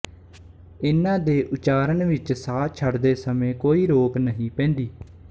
ਇਨ੍ਹਾਂ ਦੇ ਉਚਾਰਨ ਵਿੱਚ ਸਾਹ ਛੱਡਦੇ ਸਮੇਂ ਕੋਈ ਰੋਕ ਨਹੀਂ ਪੈਂਦੀ